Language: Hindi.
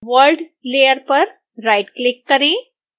world लेयर पर राइटक्लिक करें